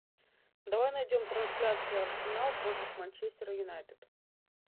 давай найдем трансляцию арсенал против манчестер юнайтед